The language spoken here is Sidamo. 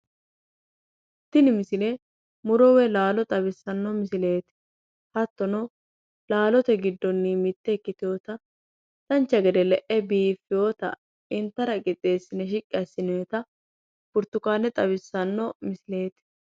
Tini misile muro woyi laalo xawissanno misileeti. Hattono laalote giddonni mitte ikkitewota dancha gede le'e biiffewota intara qixxeessine shiqqi assinewota burtukaane xawissanno misileeti.